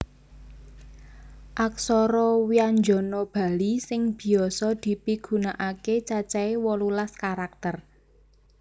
Aksara wyanjana Bali sing biasa dipigunakaké cacahé wolulas karakter